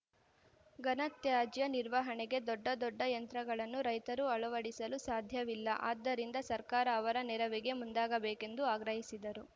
ಘನತ್ಯಾಜ್ಯ ನಿರ್ವಹಣೆಗೆ ದೊಡ್ಡ ದೊಡ್ಡ ಯಂತ್ರಗಳನ್ನು ರೈತರು ಆಳವಡಿಸಲು ಸಾಧ್ಯವಿಲ್ಲ ಆದ್ದರಿಂದ ಸರ್ಕಾರ ಅವರ ನೆರವಿಗೆ ಮುಂದಾಗಬೇಕೆಂದು ಆಗ್ರಹಿಸಿದರು